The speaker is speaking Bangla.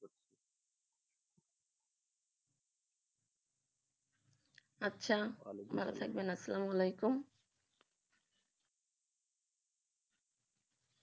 আচ্ছা ভালো থাকবেন আসসালামু আলাইকুম